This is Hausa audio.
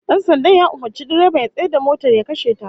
Dan sandan ya umurci direban ya tsayar da motar ya kashe ta